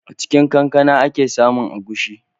A cin kankana a ke samun agushi.